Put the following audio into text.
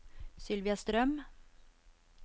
Sylvia Strøm